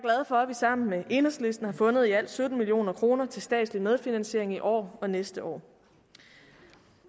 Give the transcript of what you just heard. for at vi sammen med enhedslisten har fundet i alt sytten million kroner til statslig medfinansiering i år og næste år